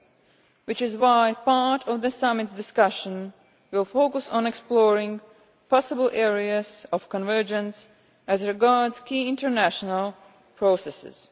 This is why part of the summit's discussion will focus on exploring possible areas of convergence as regards key international processes.